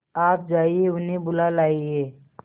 आप जाइए उन्हें बुला लाइए